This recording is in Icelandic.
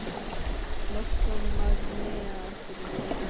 Loks kom Magnea aftur úr jólafríinu.